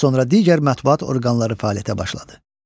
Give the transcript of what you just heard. Az sonra digər mətbuat orqanları fəaliyyətə başladı.